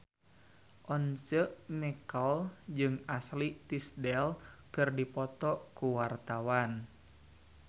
Once Mekel jeung Ashley Tisdale keur dipoto ku wartawan